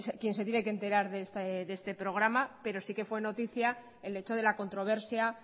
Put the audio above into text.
quien se tiene que enterar de este programa pero sí que fue noticia el hecho de la controversia